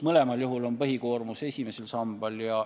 Mõlemal juhul on põhikoormus esimesel sambal.